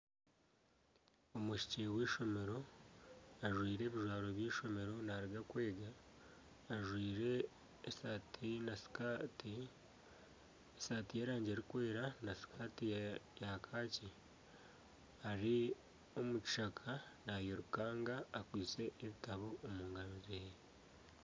Omwishiki w'eishomero ajwaire ebijwaro by'eishomero naaruga kwega. Ajwaire esaati na sikaati. Esaati y'erangi erikwera na sikaati ya kaaki. Ari omu kishaka nairukanga akwaitse ebitabo omu ngaro zeeye.